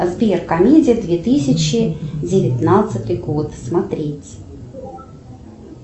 сбер комедия две тысячи девятнадцатый год смотреть